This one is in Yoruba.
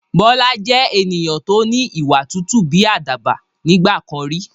Bọlá jẹ́ ènìyàn to ni ìwà tútù bí àdàbà nígbàkan rí